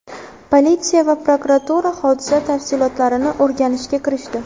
Politsiya va prokuratura hodisa tafsilotlarini o‘rganishga kirishdi.